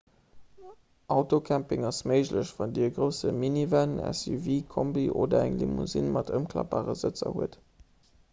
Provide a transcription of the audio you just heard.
autocamping ass méiglech wann dir e grousse minivan suv kombi oder eng limousine mat ëmklappbare sëtzer hutt